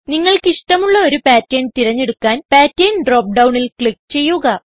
നിങ്ങൾക്കിഷ്ടമുള്ള ഒരു പാറ്റർൻ തിരഞ്ഞെടുക്കാൻ pattern drop ഡൌണിൽ ക്ലിക്ക് ചെയ്യുക